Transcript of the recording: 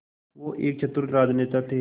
वो एक चतुर राजनेता थे